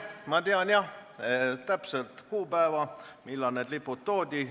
Ma tean, jah, täpset kuupäeva, millal need lipud sinna toodi.